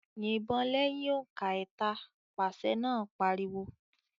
"Yìbọn lẹ́yìn òǹkà ẹ̀ta!" Pàṣẹ náà pariwo.